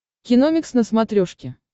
киномикс на смотрешке